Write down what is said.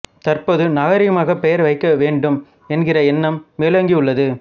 தற்போது நாகரீகமாகப் பெயர் வைக்க வேண்டும் என்கிற எண்ணம் மேலோங்கியுள்ளது